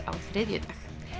á þriðjudag